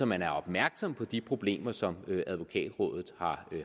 man er opmærksom på de problemer som advokatrådet